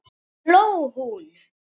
hló hún.